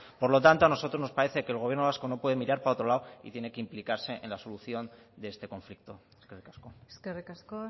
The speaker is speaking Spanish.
por lo tanto a nosotros nos parece que el gobierno vasco no puede mirar para otro lado y tiene que implicarse en la solución de este conflicto eskerrik asko eskerrik asko